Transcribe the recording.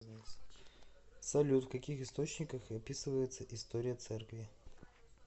салют в каких источниках описывается история церкви